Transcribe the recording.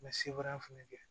Mɛ sebaaya fana kɛ